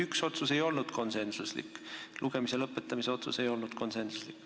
Minu arust üks otsus ei olnud konsensuslik, lugemise lõpetamise otsus ei olnud konsensuslik.